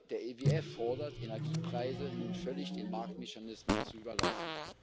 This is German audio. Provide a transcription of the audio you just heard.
Der IWF fordert, Energiepreise nun völlig den Marktmechanismen zu überlassen.